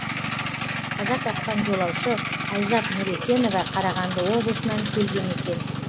қаза тапқан жолаушы айзат нүрекенова қарағанды облысынан келген екен